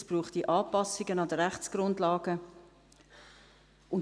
es bräuchte Anpassungen der Rechtsgrundlagen.